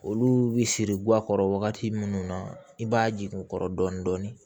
Olu bi siri guwan kɔrɔ wagati munnu na i b'a jigin u kɔrɔ dɔɔni